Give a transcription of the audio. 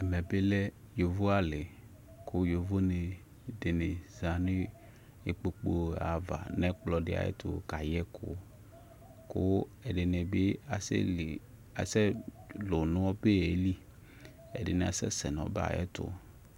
ʒmmʒ bi lʒ yɔvɔ ali, kʋ yɔvɔdini dini zanʋ ʒkplɔ dini aɣa nʋ ɛkplɔ di ʒtʋ kayʒkʋ kʋ ʒdini bi asʒli, asʒ lʋʋ nʋ ɔbʒʒli, ʒdini asʒ sʒ nʋ ɔbʒʒ ayiʒtʋ